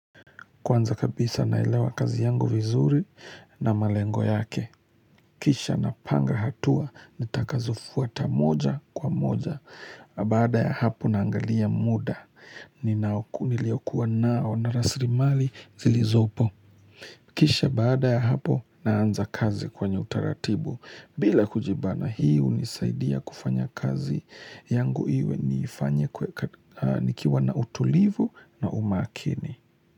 Kwanza kabisa naelewa kazi yangu vizuri na malengo yake. Kisha napanga hatua nitakazofuata moja kwa moja. Baada ya hapo naangalia muda. Niliyokuwa nao na rasilimali zilizopo. Kisha baada ya hapo naanza kazi kwenye utaratibu. Bila kujibana hi hunisaidia kufanya kazi yangu iwe nikiwa na utulivu na umakini.